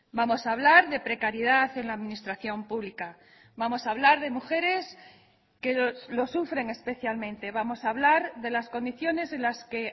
vamos a hablar de precariedad en la administración pública vamos a hablar de mujeres que lo sufren especialmente vamos a hablar de las condiciones en las que